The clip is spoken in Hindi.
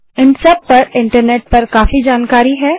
इन सब पर इन्टरनेट पर काफी जानकारी है